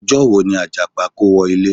Ọjọ́ wo ni Àjàpá kówọ ilé?